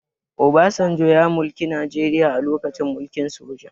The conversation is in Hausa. Obasanjo ya mulki najeria a lokacin mulkin soja